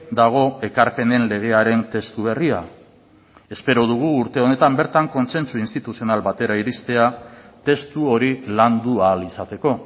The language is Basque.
dago ekarpenen legearen testu berria espero dugu urte honetan bertan kontsentsu instituzional batera iristea testu hori landu ahal izateko